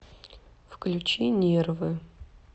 включи нервы